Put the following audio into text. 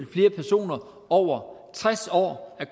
flere personer over tres år er